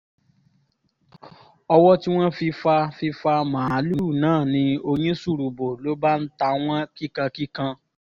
owó tí wọ́n fi fa fi fa màálùú náà ni oyin ṣùrù bò ló bá ń ta wọ́n kíkan kíkan